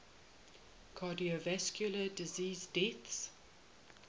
cardiovascular disease deaths